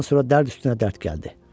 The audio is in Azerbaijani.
Bundan sonra dərd üstünə dərd gəldi.